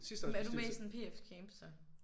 Men er du med i sådan PF camp så?